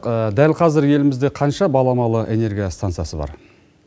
дәл қазір елімізде қанша баламалы энергия станциясы бар